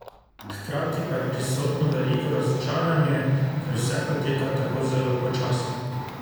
Hkrati pa je prisotno veliko razočaranje, ker vse poteka tako zelo počasi.